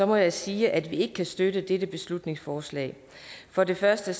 må jeg sige at vi ikke kan støtte dette beslutningsforslag for det første